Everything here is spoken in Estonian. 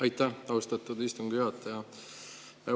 Aitäh, austatud istungi juhataja!